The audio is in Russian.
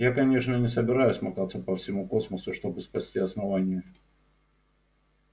я конечно не собираюсь мотаться по всему космосу чтобы спасти основание